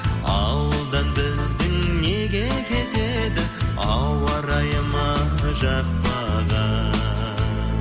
ауылдан біздің неге кетеді ауа райы ма жақпаған